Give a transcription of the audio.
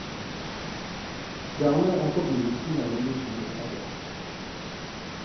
Dermed er forbindelsen mellom de to etablert.